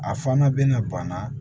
A fana bɛna ban